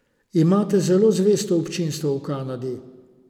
Imate zelo zvesto občinstvo v Kanadi.